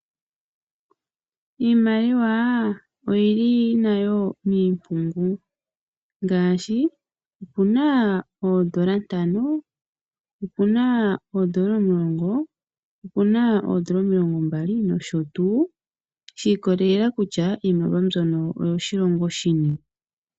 Iimaliwa oyili nayo miimpungu ngaashi opuna oondola ntano, opuna oondola omulongo, opuna oondola omulongombali nosho tuu shi ikolelela kutya iimaliwa mbyono oyo shilongo shini.